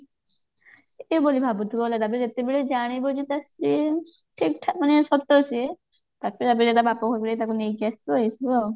ବୋଲି ଭାବୁଥିବ ହେଲା ତାପରେ ଯେତେବେଳେ ଜାଣିବ ତା ସ୍ତ୍ରୀ ଠିକ ଠାକ ମାନେ ସତ ସିଏ ତାପରେ ଆଗେ ଯାଇକି ତା ବାପଘରୁକୁ ଯାଇକି ତାକୁ ନେଇକି ଆସିବ ଏଇସବୁ ଆଉ